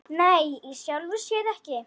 Nei, í sjálfu sér ekki.